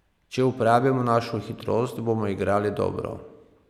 Če uporabimo našo hitrost, bomo igrali dobro.